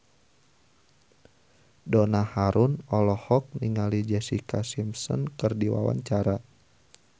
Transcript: Donna Harun olohok ningali Jessica Simpson keur diwawancara